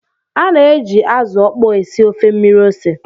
A na-eji azụ ókpó esi ofe mmiri ose